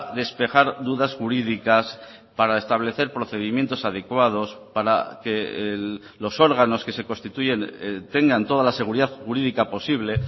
despejar dudas jurídicas para establecer procedimientos adecuados para que los órganos que se constituyen tengan toda la seguridad jurídica posible